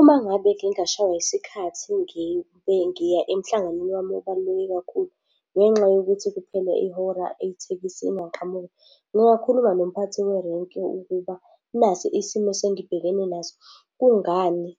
Uma ngabe ngingashaywa isikhathi ngibe ngiya emhlanganweni wami obaluleke kakhulu, ngenxa yokuthi kuphele ihora ithekisi ingaqhamuki, ngingakhuluma nomphathi werenki ukuba nasi isimo engibhekene naso, kungani